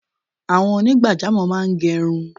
Àwọn onigbajamo máa ń gerun